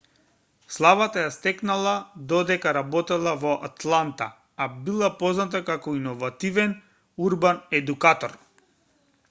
славата ја стекнала додека работела во атланта а била позната како иновативен урбан едукатор